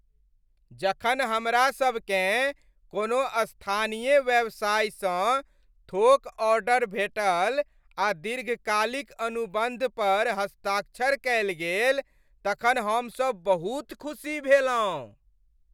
जखन हमरासभकेँ कोनो स्थानीय व्यवसायसँ थोक ऑर्डर भेटल आ दीर्घकालिक अनुबन्ध पर हस्ताक्षर कयल गेल तखन हमसभ बहुत खुशी भेलहुँ।